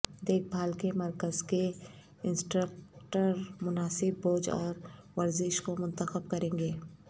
دیکھ بھال کے مرکز کے انسٹرکٹر مناسب بوجھ اور ورزش کو منتخب کریں گے